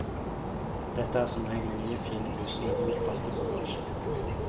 Dette er som regel nye fine busser med god plass til bagasje.